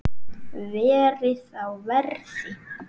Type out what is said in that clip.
Verið á verði.